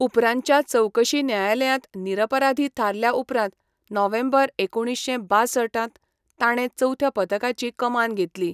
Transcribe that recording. उपरांतच्या चवकशी न्यायालयांत निरपराधी थारल्या उपरांत नोव्हेंबर एकुणीश्शें बांसठ त ताणें चवथ्या पथकाची कमान घेतली.